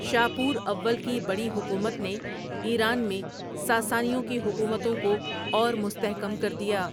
شاپور اول کی بڑی حکومت نے ایران میں ساسانیوں کی حکومتوں کو اورمستحکم کردیا۔